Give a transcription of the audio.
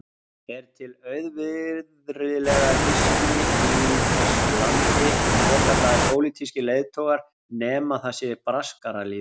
Er til auvirðilegra hyski í þessu landi en svokallaðir pólitískir leiðtogar, nema það sé braskaralýðurinn?